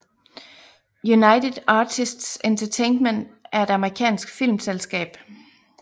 United Artists Entertainment er et amerikansk filmselskab